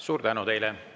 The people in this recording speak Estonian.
Suur tänu teile!